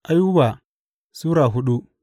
Ayuba Sura hudu